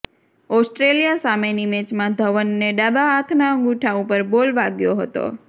Australia સામેની મેચમાં ધવનને ડાબા હાથના અંગૂઠા ઉપર બોલ વાગ્યો હતો